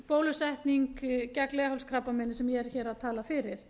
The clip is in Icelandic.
bólusetning gegn leghálskrabbameini sem ég er hér að tala fyrir